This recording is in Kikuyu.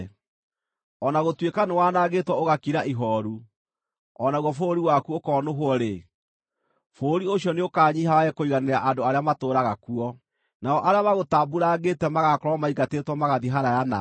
“O na gũtuĩka nĩwanangĩtwo ũgakira ihooru, o naguo bũrũri waku ũkonũhwo-rĩ, bũrũri ũcio nĩũkanyiiha wage kũiganĩra andũ arĩa matũũraga kuo, nao arĩa magũtambuurangĩte magaakorwo maingatĩtwo magathiĩ haraaya nawe.